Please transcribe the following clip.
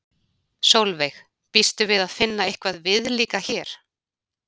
Sólveig: Býstu við að finna eitthvað viðlíka hér?